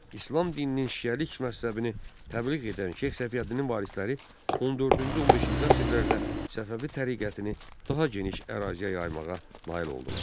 İslam dininin şiəlik məzhəbini təbliğ edən Şeyx Səfiyyəddinin varisləri 14-cü, 15-ci əsrlərdə Səfəvi təriqətini daha geniş əraziyə yaymağa nail oldular.